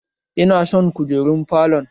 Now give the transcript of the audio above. Ina son kujerun falon